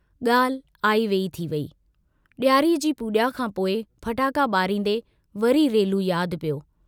गाल्हि आई वेई थी वेई, डियारीअ जी पूजा खां पोइ फटाका बारींदे वरी रेलू याद पियो।